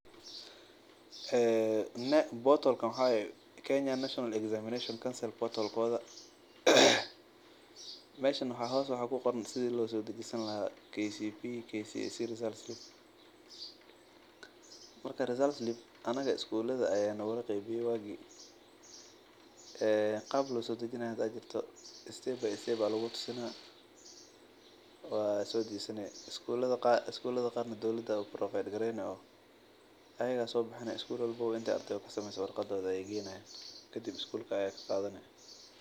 Meeshan waxaa ku qoran sida loo soo dajisan lahaa anaga iskulada ayaa nogala qeybiye lakin waa lasoo dajistaa iskulada qaar dowlada ayaa soo bixine kadib iskuulka ayaa ka qaadane.